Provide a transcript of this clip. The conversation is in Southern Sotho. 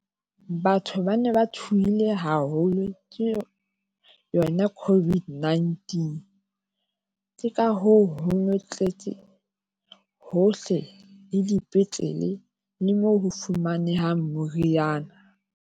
Batho ba ne ba tshohile haholo ke yo yona Covid nineteen. Ke ka hoo hono tletse hohle, le dipetlele le moo ho fumanehang moriana.